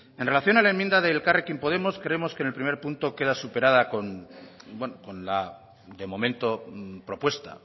en relación a la enmienda de elkarrekin podemos creemos que en el punto uno queda superada con la de momento propuesta